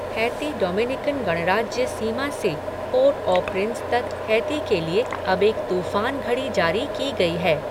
Haiti Dominican गणराज्य सीमा से पोर्ट ऑ प्रिंस तक हैती के लिए अब एक तूफान घड़ी जारी की गई है।